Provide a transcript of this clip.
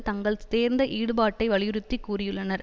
தங்கள் தேர்ந்த ஈடுபாட்டை வலியுறுத்தி கூறியுள்ளனர்